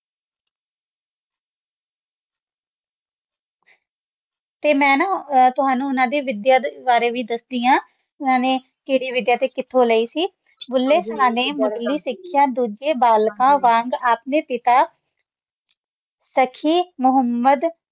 ਇਸ ਲਈ ਮੈਂ ਉਨ੍ਹਾਂ ਦੇ ਮੀਡੀਆ ਬਾਰੇ ਵੀ ਦੱਸਦਾ ਹਾਂ ਥੋੜਾ ਜਿਹਾ ਜੀਵਨ ਵੈਸੇ ਤੁਸੀਂ ਸਖੀ ਮੁਹੰਮਦ ਨੂੰ ਜਾਣਦੇ ਹੋ